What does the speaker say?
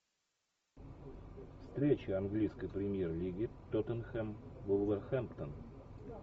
встреча английской премьер лиги тоттенхэм вулверхэмптон